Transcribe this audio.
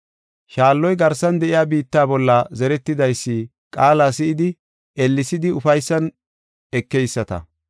Shaalloy garsan de7iya biitta bolla zeretidaysi qaala si7idi ellesidi ufaysan ekeyisata.